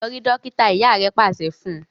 lọ rí dókítà! ìyá rẹ pàṣẹ fún.